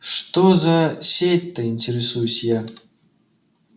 что за сеть-то интересуюсь я